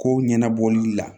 Ko ɲɛnabɔli la